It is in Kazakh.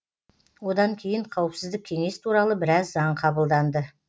одан кейін қауіпсіздік кеңес туралы біраз заң қабылданды